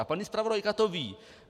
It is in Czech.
A paní zpravodajka to ví.